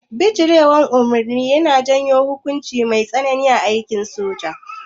Bijirewa umarni yana janyo hukunci mai tsanani a aikin soja